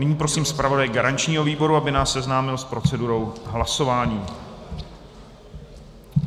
Nyní prosím zpravodaje garančního výboru, aby nás seznámil s procedurou hlasování.